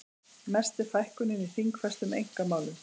Mest er fækkunin í þingfestum einkamálum